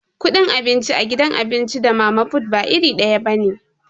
Kudin abinci a gidan abinci da mama fut ba iri daya bane.